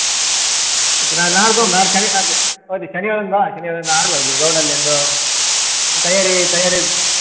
sorry ಶನಿವಾರ ಒಂದು ಬಾ ಶನಿವಾರ ಒಂದು ಆಡುವ ಇಲ್ಲಿ ground ಅಲ್ಲಿ ಒಂದು ತಯಾರಿ ತಯಾರಿ.